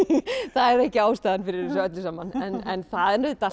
það er ekki ástæðan fyrir þessu öllu saman en það er auðvitað